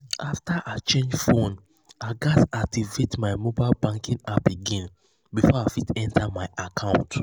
after i change phone i gatz activate my mobile banking app again before i fit enter my account.